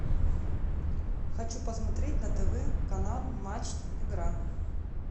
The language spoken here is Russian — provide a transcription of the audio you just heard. хочу посмотреть на тв канал матч игра